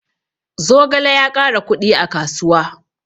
Zogale ya ƙara kuɗi a kasuwa